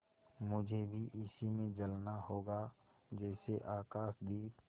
मुझे भी इसी में जलना होगा जैसे आकाशदीप